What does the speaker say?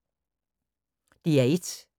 DR1